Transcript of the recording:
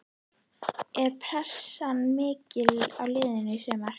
Er pressan mikil á liðinu í sumar?